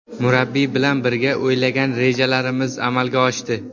Murabbiy bilan birga o‘ylagan rejalarimiz amalga oshdi.